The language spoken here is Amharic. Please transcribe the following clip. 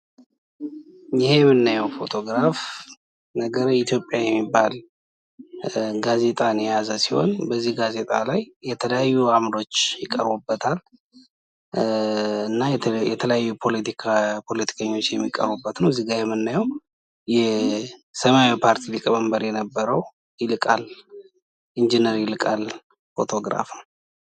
ይህ የምናየው ፎቶግራፍ ነገረ የኢትዮጵያ የሚባል ጋዜጣን የያዛ ሲሆን በዚህ ጋዜጣ ላይ የተለያዩ አምዶች ይቀሩበታል። እና የተለያዩ ፖለቲከኞች የሚቀርቡበት ከዚህ ጋ የምናየው የሰማያዊ ፓርቲ ሊቀመንበር የነበረው ኢንጂነር ይልቃል ፎቶግራፍ ነው።